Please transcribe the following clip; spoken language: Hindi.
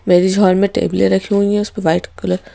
मैरिज हॉल में टेबल रखी हुई है उस पे व्हाइट कलर --